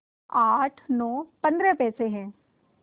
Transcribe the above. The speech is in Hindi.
आठ नौ पंद्रह पैसे हैं